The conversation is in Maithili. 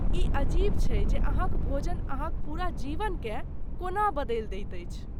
ई अजीब छै जे अहाँक भोजन अहाँक पूरा जीवनकेँ कोना बदलि दैत अछि।